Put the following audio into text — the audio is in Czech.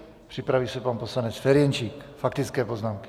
Připraví se pan poslanec Ferjenčík, faktické poznámky.